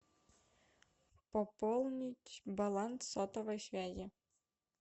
пополнить баланс сотовой связи